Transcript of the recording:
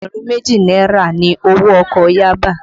Ẹgbẹ̀rún méjì náírà ni owó ọkọ̀ Yaba